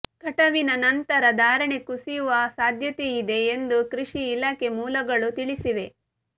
ಕಟಾವಿನ ನಂತರ ಧಾರಣೆ ಕುಸಿಯುವ ಸಾಧ್ಯತೆಯಿದೆ ಎಂದು ಕೃಷಿ ಇಲಾಖೆ ಮೂಲಗಳು ತಿಳಿಸಿವೆ